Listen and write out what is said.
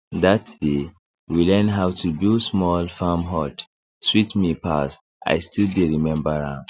that day we learn how to build small farm hut sweet me pass i still dey remember am